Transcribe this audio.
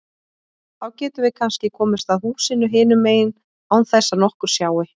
Þá getum við kannski komist að húsinu hinum megin án þess að nokkur sjái.